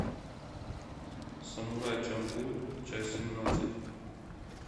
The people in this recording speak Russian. самурай чамплу часть семнадцать